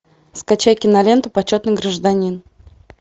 скачай киноленту почетный гражданин